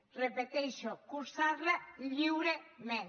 ho repeteixo cursar la lliurement